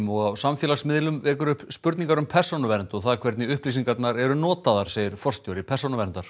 og á samfélagsmiðlum vekur upp spurningar um persónuvernd og það hvernig upplýsingarnar eru notaðar segir forstjóri Persónuverndar